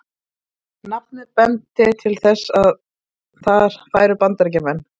Nafnið benti til þess, að þar færu Bandaríkjamenn.